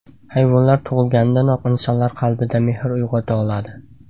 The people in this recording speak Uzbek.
Hayvonlar tug‘ilganidanoq insonlar qalbida mehr uyg‘ota oladi.